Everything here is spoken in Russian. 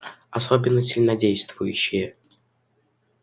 особенно сильнодействующие